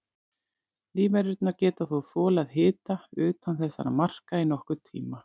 Lífverurnar geta þó þolað hita utan þessara marka í nokkurn tíma.